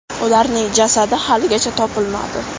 Ularning jasadi haligacha topilmadi.